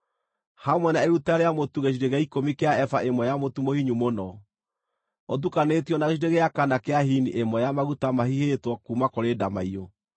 hamwe na iruta rĩa mũtu gĩcunjĩ gĩa ikũmi kĩa eba ĩmwe ya mũtu mũhinyu mũno, ũtukanĩtio na gĩcunjĩ gĩa kana kĩa hini ĩmwe ya maguta mahihĩtwo kuuma kũrĩ ndamaiyũ.